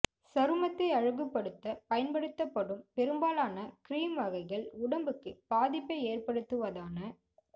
சருமத்தை அழகுப்படுத்த பயன்படுத்தப்படும் பெரும்பாலான கீறிம் வகைகள் உடம்புக்கு பாதிப்பை ஏற்படுத்துவதனா